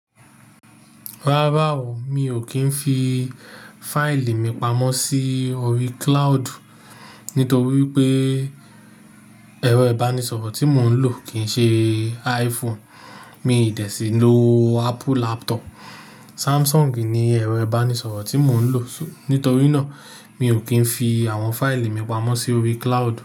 Rárá o, mi ò kí ń fi fáìlì mi pamọ́ sí orí cloud nítorí pé ẹ̀rọ ìbánisọ̀rọ̀ tí mò ń lò kì ń ṣe iPhone. Mi de sí lo Apple laptop. Samsung ni ẹ̀rọ ìbánisọ̀rọ̀ tí mò ń lò. Nítorí náà, mi ò kí ń fi àwọn fáìlì mi pamọ́ sí orí cloud.